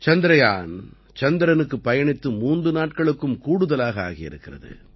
சந்திரயான் சந்திரனுக்குப் பயணித்து மூன்று நாட்களுக்கும் கூடுதலாக ஆகியிருக்கிறது